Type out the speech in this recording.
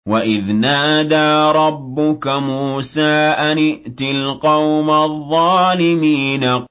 وَإِذْ نَادَىٰ رَبُّكَ مُوسَىٰ أَنِ ائْتِ الْقَوْمَ الظَّالِمِينَ